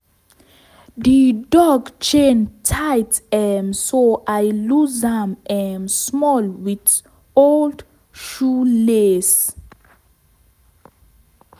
di dog chain tight um so i lose am um small with old shoelace.